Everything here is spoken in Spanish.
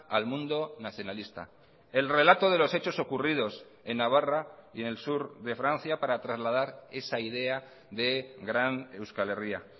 al mundo nacionalista el relato de los hechos ocurridos en navarra y en el sur de francia para trasladar esa idea de gran euskal herria